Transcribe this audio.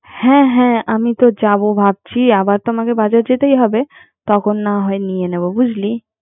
হ্যা হ্যা আমিতো যাবো ভাবছি আমার মানে বাজার যেতেই হবেতখন না হয় নিয়ে নিবো